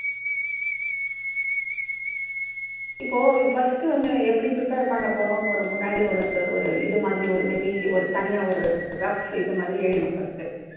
இப்போ first வந்து எப்படி prepare பண்ணப்போறோம்னு ஒரு முன்னாடி ஒரு ஒரு இது மாதிரி ஒரு may be ஒரு தனியா ஒரு rough இது மாதிரி எழுதணும் first.